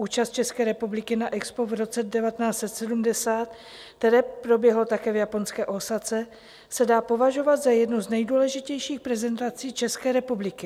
Účast České republiky na EXPO v roce 1970, které proběhlo také v japonské Ósace, se dá považovat za jednu z nejdůležitějších prezentací České republiky.